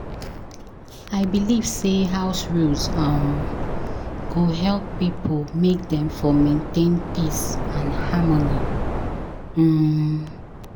I believe sey house rules um go help pipo make dem for maintain peace and harmony. um